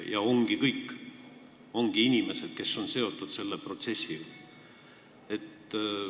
Ja ongi kõik, ongi ainsad inimesed, kes on nagu seotud selle protsessiga.